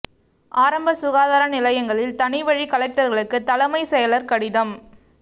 ஆரம்ப சுகாதார நிலையங்களில் தனி வழி கலெக்டர்களுக்கு தலைமை செயலர் கடிதம்